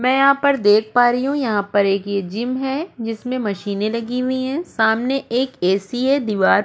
मै यहा पर देख पा रही हु यहा पर एक ये जिम है जिसमे मशीने लगी हुई है सामने एक ए.सी. है दीवार --